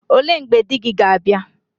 Ole mgbe iga di gi ga abia?